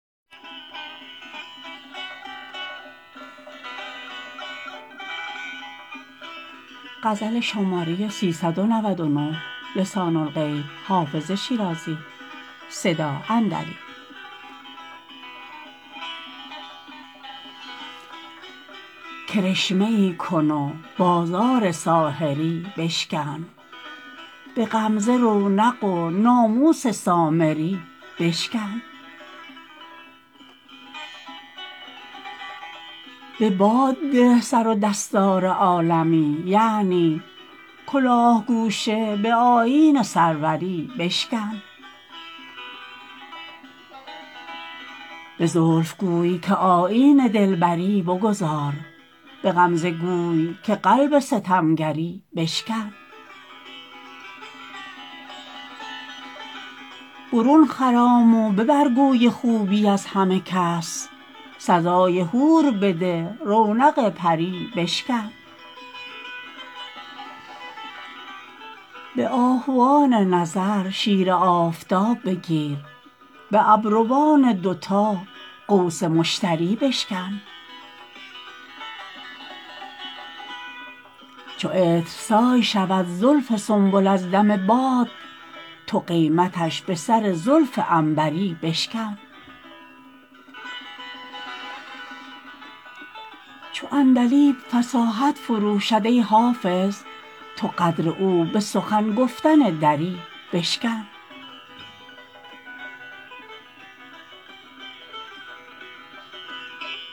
کرشمه ای کن و بازار ساحری بشکن به غمزه رونق و ناموس سامری بشکن به باد ده سر و دستار عالمی یعنی کلاه گوشه به آیین سروری بشکن به زلف گوی که آیین دلبری بگذار به غمزه گوی که قلب ستمگری بشکن برون خرام و ببر گوی خوبی از همه کس سزای حور بده رونق پری بشکن به آهوان نظر شیر آفتاب بگیر به ابروان دوتا قوس مشتری بشکن چو عطرسای شود زلف سنبل از دم باد تو قیمتش به سر زلف عنبری بشکن چو عندلیب فصاحت فروشد ای حافظ تو قدر او به سخن گفتن دری بشکن